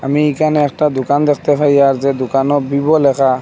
আমি এখানে একটা দুকান দেখতে পাই আর যেই দুকানেও বিবো লেখা।